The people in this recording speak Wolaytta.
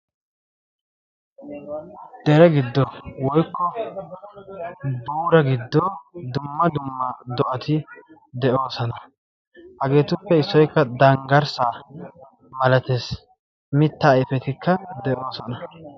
Dere giddo woykko buura giddo dumma dumma do'ati de'oosona. hageetuppe issoykka danggarssa malatees mitta aifetikka de'oosona.